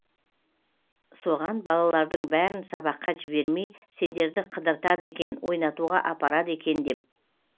соған балалардың бәрін сабаққа жібермей сендерді қыдыртады екен ойнатуға апарады екен деп